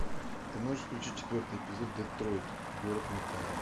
ты можешь включить четвертый эпизод детройт город металла